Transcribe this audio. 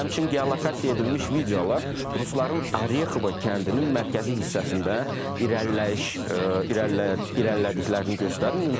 Həmçinin geolokasiya edilmiş videolar rusların Orekhova kəndinin mərkəzi hissəsində irəliləyiş irəlilədiklərini göstərir.